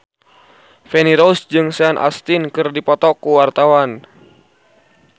Feni Rose jeung Sean Astin keur dipoto ku wartawan